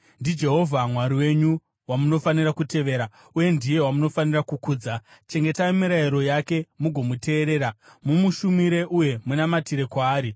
NdiJehovha Mwari wenyu wamunofanira kutevera, uye ndiye wamunofanira kukudza. Chengetai mirayiro yake mugomuteerera; mumushumire uye munamatire kwaari.